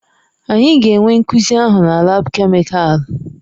Anyị ga-enwe nkuzi ahụ na laabu kemịkalụ.